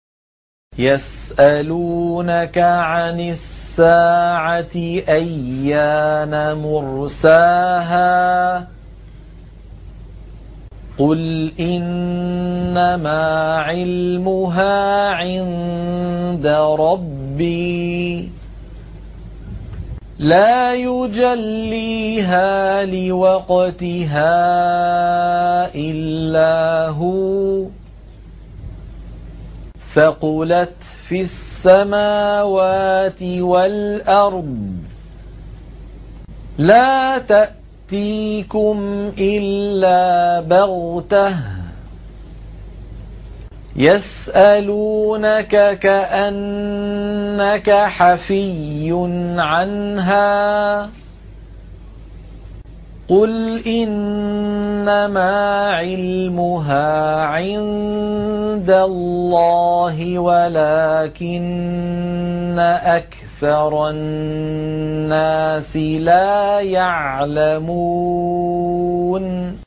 يَسْأَلُونَكَ عَنِ السَّاعَةِ أَيَّانَ مُرْسَاهَا ۖ قُلْ إِنَّمَا عِلْمُهَا عِندَ رَبِّي ۖ لَا يُجَلِّيهَا لِوَقْتِهَا إِلَّا هُوَ ۚ ثَقُلَتْ فِي السَّمَاوَاتِ وَالْأَرْضِ ۚ لَا تَأْتِيكُمْ إِلَّا بَغْتَةً ۗ يَسْأَلُونَكَ كَأَنَّكَ حَفِيٌّ عَنْهَا ۖ قُلْ إِنَّمَا عِلْمُهَا عِندَ اللَّهِ وَلَٰكِنَّ أَكْثَرَ النَّاسِ لَا يَعْلَمُونَ